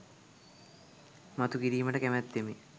මතු කිරීමට කැමැත්තෙමි.